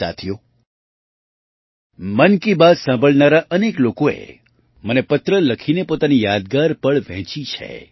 સાથીઓ મન કી બાત સાંભળનારા અનેક લોકોએ મને પત્ર લખીને પોતાની યાદગાર પળ વહેંચી છે